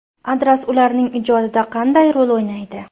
Adras ularning ijodida qanday rol o‘ynaydi?